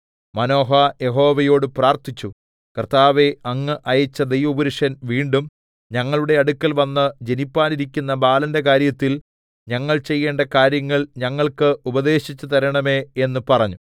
Manoah യഹോവയോട് പ്രാർത്ഥിച്ചു കർത്താവേ അങ്ങ് അയച്ച ദൈവപുരുഷൻ വീണ്ടും ഞങ്ങളുടെ അടുക്കൽവന്ന് ജനിപ്പാനിരിക്കുന്ന ബാലന്റെ കാര്യത്തിൽ ഞങ്ങൾ ചെയ്യേണ്ട കാര്യങ്ങൾ ഞങ്ങൾക്ക് ഉപദേശിച്ച് തരേണമേ എന്ന് പറഞ്ഞു